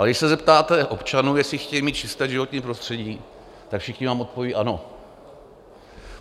Ale když se zeptáte občanů, jestli chtějí mít čisté životní prostředí, tak všichni vám odpoví ano.